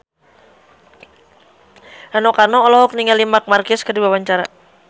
Rano Karno olohok ningali Marc Marquez keur diwawancara